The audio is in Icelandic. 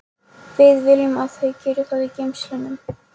Við viljum að þau geri það í geymslunum.